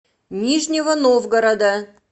нижнего новгорода